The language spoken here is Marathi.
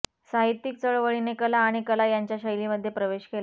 साहित्यिक चळवळीने कला आणि कला यांच्या शैलीमध्ये प्रवेश केला